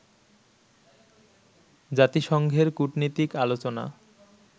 জাতিসংঘের কুটনীতিক আলোচনা